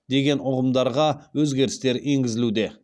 деген ұғымдарға өзгерістер енгізілуде